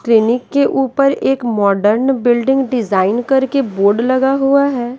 ट्रेनिक के ऊपर एक मॉडर्न बिल्डिंग डिजाइन करके बोर्ड लगा हुआ है।